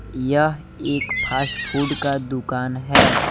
यह एक fast food का दुकान है।